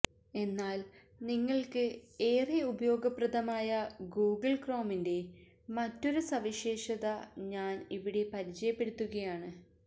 എന്നാല് നിങ്ങള്ക്ക് ഏറെ ഉപയോഗപ്രദമായ ഗൂഗിള് ക്രോമിന്റെ മറ്റൊരു സവിശേഷത ഞാന് ഇവിടെ പരിചയപ്പെടുത്തുകയാണ്